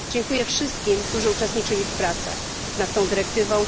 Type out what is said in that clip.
Dziękuję wszystkim, którzy uczestniczyli w pracach nad tą dyrektywą.